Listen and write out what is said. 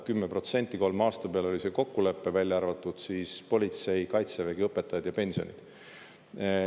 10% kolme aasta peale oli see kokkulepe, välja arvatud politsei, kaitsevägi, õpetajad ja pensionid.